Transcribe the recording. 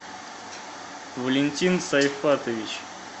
валентин сайфатович